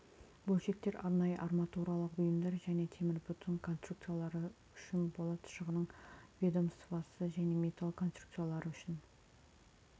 бөлшектер арнайы арматуралық бұйымдар және темірбетон конструкциялары үшін болат шығынының ведомствосы және металл конструкциялары үшін